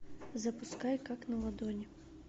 запускай как на ладони